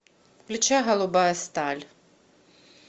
включай голубая сталь